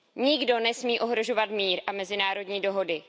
Nikdo nesmí ohrožovat mír a mezinárodní dohody.